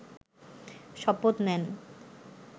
শপথ নেন